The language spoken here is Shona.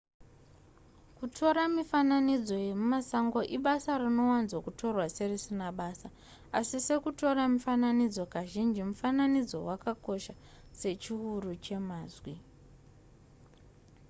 kutora mifinanidzo yemumasango ibasa rinowanzo kutorwa serisina basa asi sekutora mifananidzo kazhinji mufananidzo wakakosha sechiuru chemazwi